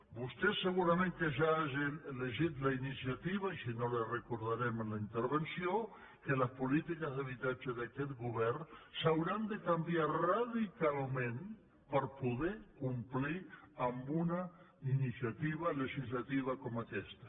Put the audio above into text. vostè segurament que ja ha llegit en la iniciativa i si no li ho recordarem en la intervenció que les polítiques d’habitatge d’aquest govern s’hauran de canviar radicalment per poder complir amb una iniciativa legislativa com aquesta